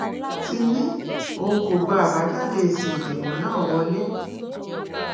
ti ní òun kò gba àbájáde èsì ìdìbò náà wọlẹ